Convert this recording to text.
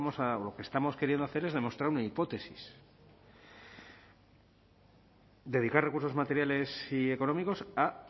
lo que estamos queriendo hacer es demostrar una hipótesis dedicar recursos materiales y económicos a